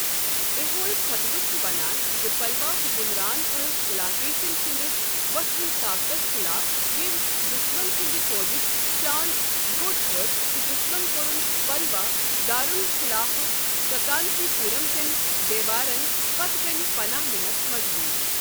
ایہول خۄطبہٕ چھ ونان زِ پلوا حُکُمران ٲسہِ پُلاکیشن سٕندِس وۄتھوٕنس طاقتس خٕلاف، ییٚمۍ دشمن سٕنٛد فوجِچ شان گوٚٹ کٔر تہٕ دُشمن کورُن پلوا دارُل خلافہٕ ککانچی پوُرم کین دیوارن پتہٕ کٕنہِ پناہ نِنس مجبوُر۔